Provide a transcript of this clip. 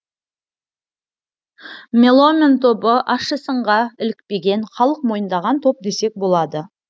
меломен тобы ащы сынға ілікпеген халық мойындаған топ десек болады